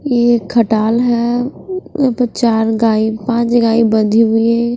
ये खटाल है य पर चार गाय पांच गाय बंधी हुई है।